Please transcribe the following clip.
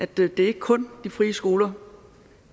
det er ikke kun de frie skoler